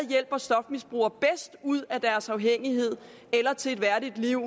hjælper stofmisbrugere ud af deres afhængighed eller til et værdigt liv